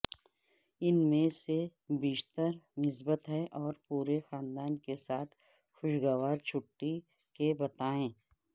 ان میں سے بیشتر مثبت ہیں اور پورے خاندان کے ساتھ خوشگوار چھٹی کے بتائیں